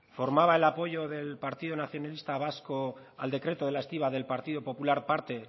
formaba el apoyo del partido nacionalista vasco al decreto de la estiba del partido popular parte